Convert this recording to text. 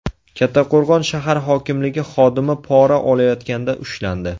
Kattaqo‘rg‘on shahar hokimligi xodimi pora olayotganda ushlandi.